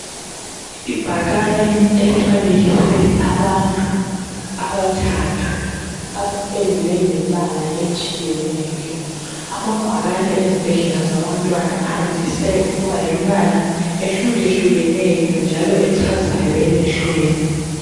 Ibhakane elifanekiswe abantu abathathu abapendwe ngembala etshiyeneyo ,amabhakane ezibhedlela zabantwana andise ukuba lembala ehluke hlukeneyo njalo echazayo emehlweni.